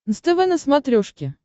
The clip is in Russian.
нств на смотрешке